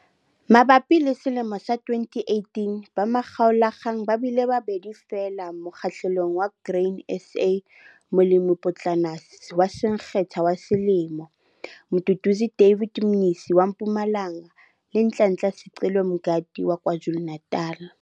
Mabapi le selemo sa 2018 ba makgaolakgang ba bile babedi feela mokgahlelong wa Grain SA, Molemipotlana wa Syngenta wa Selemo - Mduduzi David Mnisi wa Mpumalanga le Nhlanhla Sicelo Mngadi wa KwaZulu-Natal.